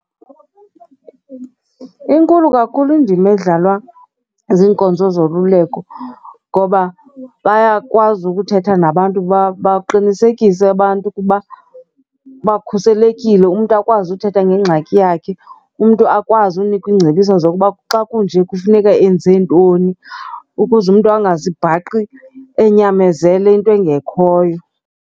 Inkulu kakhulu indima edlalwa ziinkonzo zoluleko ngoba bayakwazi ukuthetha nabantu baqinisekise abantu ukuba bakhuselekile. Umntu akwazi uthetha ngengxaki yakhe. Umntu akwazi unikwa ingcebiso zokuba xa kunje kufuneka enze ntoni ukuze umntu angazibhaqi enyamezele into engekhoyo.